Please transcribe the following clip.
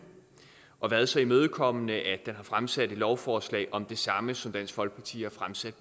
og har været så imødekommende at den har fremsat et lovforslag om det samme som dansk folkeparti har fremsat